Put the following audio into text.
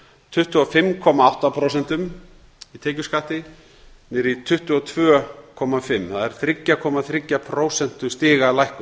tuttugu og fimm komma átta prósenta tekjuskatti niður í tvö hundruð tuttugu og fimm prósent það er þriggja komma þriggja prósentustiga lækkun